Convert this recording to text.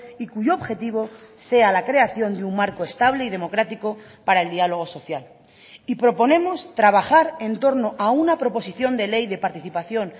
y cuyo objetivo sea la creación de un marco estable y democrático para el diálogo social y proponemos trabajar en torno a una proposición de ley de participación